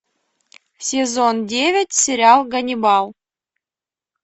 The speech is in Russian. сезон девять сериал ганнибал